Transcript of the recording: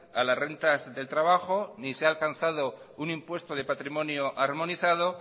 a las rentas del trabajo ni se ha alcanzado un impuesto de patrimonio armonizado